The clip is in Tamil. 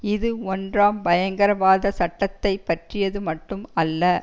இது ஒன்றாம் பயங்கரவாத சட்டத்தை பற்றியது மட்டும் அல்ல